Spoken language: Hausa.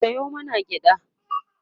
Sayo mana gyaɗa